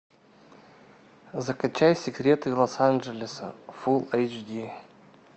закачай секреты лос анджелеса фулл эйч ди